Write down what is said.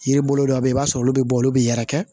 Yiri bolo dɔw bɛ yen i b'a sɔrɔ olu bɛ bɔ olu bɛ yɛrɛkɛ